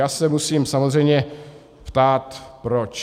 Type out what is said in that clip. Já se musím samozřejmě ptát proč.